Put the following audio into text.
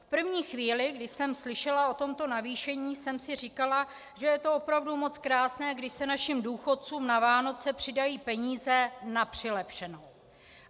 V první chvíli, kdy jsem slyšela o tomto navýšení, jsem si říkala, že je to opravdu moc krásné, když se našim důchodcům na Vánoce přidají peníze na přilepšenou.